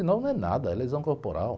e nove não é nada, é lesão corporal.